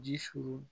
Ji suru